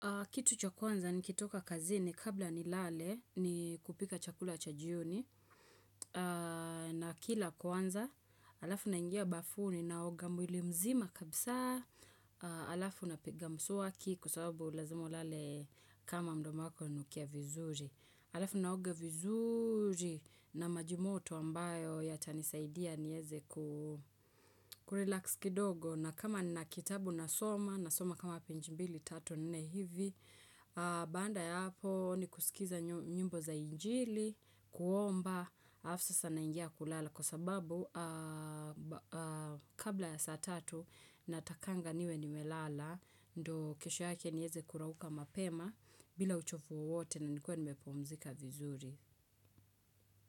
Kitu cha kwanza nikitoka kazini kabla nilale ni kupika chakula cha jioni nakila kwanza alafu naingia bafuni naoga mwiili mzima kabisa alafu napiga mswaki kwa sababu lazima ulale kama mdomo wako unanukia vizuri. Alafu naoga vizuri na maji moto ambayo yatanisaidia nieze kurelax kidogo. Na kama nina kitabu na soma, na soma kama peji mbili, tatu, nne hivi, baada ya hapo ni kusikiza nyimbo za injili, kuomba, alafu sasa naingia kulala. Kwa sababu kabla ya saa tatu natakanga niwe nimelala, ndo kesho yake niweze kurauka mapema bila uchovu wowote na nikuwe nimepumzika vizuri.